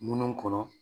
Munnu kɔnɔ